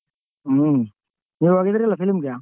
ಹ್ಮ ನೀವ್ ಹೋಗಿದ್ರಿಲ್ಲೋ film ಗೆ?